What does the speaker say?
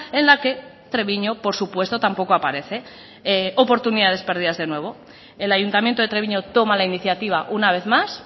en la que treviño por supuesto tampoco aparece oportunidades perdidas de nuevo el ayuntamiento de treviño toma la iniciativa una vez más